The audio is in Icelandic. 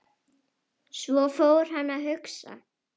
Svo fór hann að hugsa.